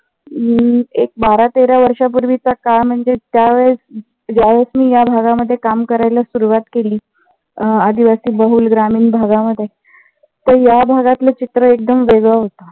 हम्म एक बारा तेरा वर्षा पूर्वीचा काळ म्हणजेच त्यावेळेस ज्यावेळेस मी या भागामध्ये काम करायला सुरुवात केली. अं आदिवासी बहुल ग्रामीण भागामध्ये तर या भागातले चित्र एकदम वेगळं होत.